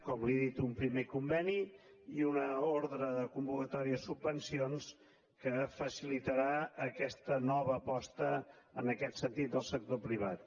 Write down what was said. com li he dit un primer conveni i una ordre de convocatòria de subvencions que facilitarà aquesta nova aposta en aquest sentit del sector privat